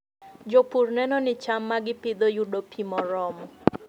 Jopur neno ni cham ma gipidho yudo pi moromo.